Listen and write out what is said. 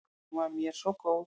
Hún var mér svo góð.